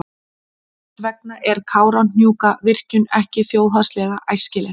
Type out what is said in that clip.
Þess vegna er Kárahnjúkavirkjun ekki þjóðhagslega æskileg.